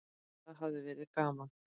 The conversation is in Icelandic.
Það hafi verið gaman.